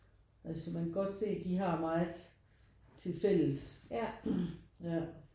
Altså man kan godt se de har meget tilfælles ja